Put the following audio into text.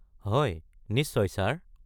হয়, নিশ্চয়, ছাৰ।